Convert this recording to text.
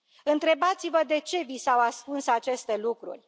Întrebați vă de ce vi s au ascuns aceste lucruri.